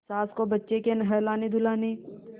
सास को बच्चे के नहलानेधुलाने